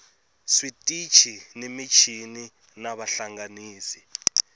switichi ni michini na vahlanganisi